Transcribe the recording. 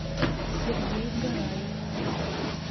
сергей гораев